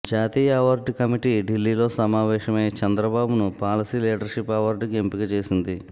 జాతీయ award committee ఢిల్లీలో సమావేశమై చంద్రబాబును పాలసీ లీడర్ షిప్ అవార్డుకు ఎంపిక చేసింది